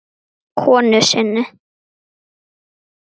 konu sinni.